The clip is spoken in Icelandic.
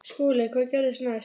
SKÚLI: Hvað gerðist næst?